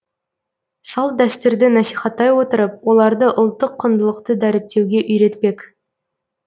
салт дәстүрді насихаттай отырып оларды ұлттық құндылықты дәріптеуге үйретпек